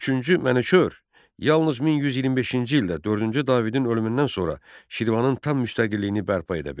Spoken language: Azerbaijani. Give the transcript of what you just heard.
Üçüncü Mənüçöhr yalnız 1125-ci ildə dördüncü Davidin ölümündən sonra Şirvanın tam müstəqilliyini bərpa edə bildi.